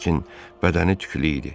Lakin bədəni tüklü idi.